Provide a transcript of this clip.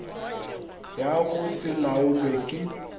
ya go se laolwe ke